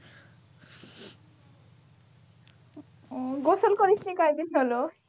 ও গোসল করিস নি কয়দিন হলো?